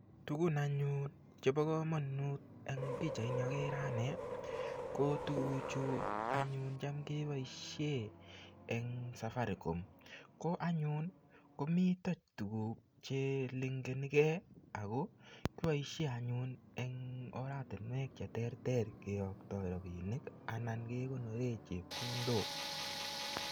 Tugun anyun chebo kamanut eng pichaini akere ane, ko tuguchu anyun cham keboisie eng Safaricom. Ko anyun komito tukuk che linkenikei ako, kiboisie anyu eng oratinwek che terter keyoktoi rabiinik anan kekonore chepkondok.